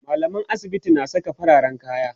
mallaman asibiti na Saka fararen kaya